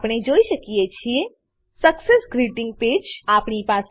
આપણે જોઈ શકીએ છીએ success greeting page success greeting page